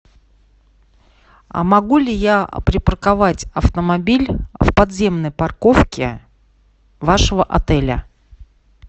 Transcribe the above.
а могу ли я припарковать автомобиль в подземной парковке вашего отеля